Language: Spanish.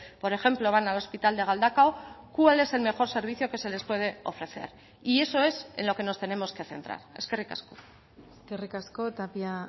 por ejemplo van al hospital de galdakao cuál es el mejor servicio que se les puede ofrecer y eso es en lo que nos tenemos que centrar eskerrik asko eskerrik asko tapia